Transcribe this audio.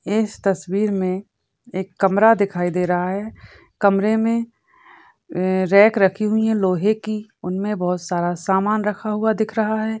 इस तस्वीर में एक कमरा दिखाई दे रहा है कमरे में रॅक रखी हुई है लोहे की उनमे बहुत सारा सामान रखा हुआ दिख रहा है।